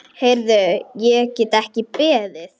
Heyrðu, ég get ekki beðið.